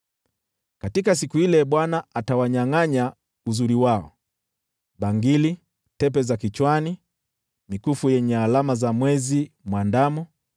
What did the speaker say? Katika siku ile Bwana atawanyangʼanya uzuri wao: bangili, tepe za kichwani, mikufu yenye alama za mwezi mwandamo,